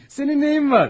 Heey, sənin nəyin var?